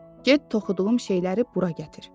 Get toxuduğum şeyləri bura gətir.